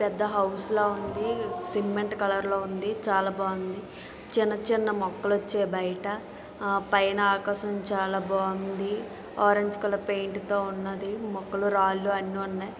పెద్ద హౌస్ లో ఉంది సిమెంట్ కలర్ లో ఉంది చాలా బాగుంది చిన్న చిన్న మొక్కలు వచ్చే బయట ఆ పైన ఆకాశం చాలా బాగుంది ఆరంజ్ కలర్ పెయింట్ తో ఉన్నది మొక్కలు రాళ్లు అన్ని ఉన్నాయి.